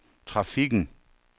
trafikken